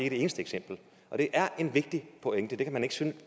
et eneste eksempel og det er en vigtig pointe det kan man synes